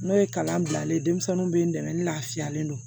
N'o ye kalan bilalen ye denmisɛnninw bɛ n dɛmɛ n lafiyalen don